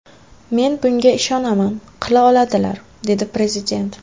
Men bunga ishonaman qila oladilar”, dedi prezident.